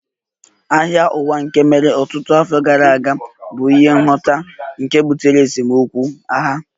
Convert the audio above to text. Agha Ụwa nke mere ọtụtụ afọ gara aga bụ n'ihi nghọtahie nke butere esemokwu (agha)